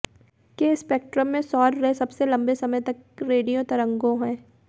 के स्पेक्ट्रम में सौर रे सबसे लंबे समय तक रेडियो तरंगों हैं